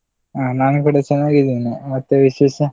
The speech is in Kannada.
ಹ ನಾನು ಕೂಡ ಚನ್ನಾಗಿದೀನಿ, ಮತ್ತೆ ವಿಶೇಷ?